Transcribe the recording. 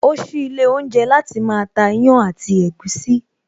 O sí ilé oúnjẹ láti máa ta ìyàn àti ẹ̀gúsí